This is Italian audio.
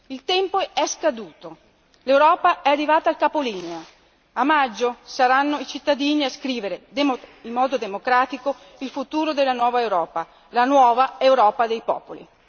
Il tempo è scaduto, l'Europa è arrivata al capolinea, a maggio saranno i cittadini a scrivere in modo democratico il futuro della nuova Europa, la nuova Europa dei popoli.